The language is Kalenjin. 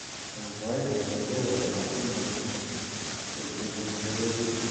Eng sait ne kerkei ematunwek kokipun kewelutik che atebto ab mungaret eng sabet ak yauti ab che kibaishe eng korik.